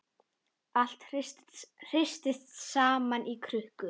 Allt hrist saman í krukku.